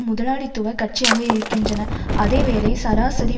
முதலாளித்துவ கட்சியாக இருக்கின்றன அதேவேளை சராசரி